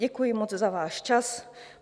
Děkuji moc za váš čas.